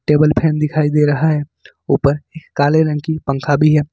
Table fan दिखाई दे रहा है ऊपर काले रंग की पंखा भी है।